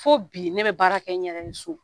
Fo bi ne bɛ baara kɛ n yɛrɛ ye so.